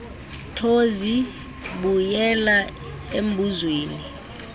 thozi buyela embuzweni